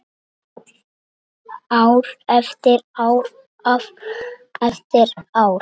Ár eftir ár eftir ár.